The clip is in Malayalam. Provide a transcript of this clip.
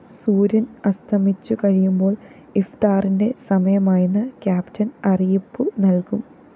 സൂര്യന്‍ അസ്തമിച്ചുകഴിയുമ്പോള്‍ ഇഫ്താറിന്റെ സമയമായെന്ന് ക്യാപ്റ്റൻ അറിയിപ്പു നല്‍കും